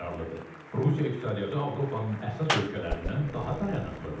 Rusiya iqtisadiyyatı Avropanın əsas ölkələrindən daha dayanıqlıdır.